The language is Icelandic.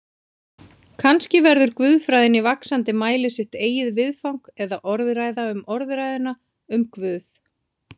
Kannski verður guðfræðin í vaxandi mæli sitt eigið viðfang eða orðræða um orðræðuna um Guð.